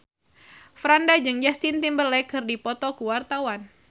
Franda jeung Justin Timberlake keur dipoto ku wartawan